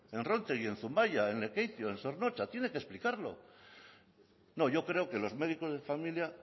en rontegi en zumaia en lekeitio en zornotza tiene que explicarlo no yo creo que los médicos de familia